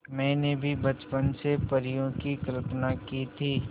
मैंने भी बचपन से परियों की कल्पना की थी